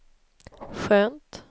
skönt